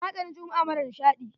Na sani jummu'a mara nishaɗi.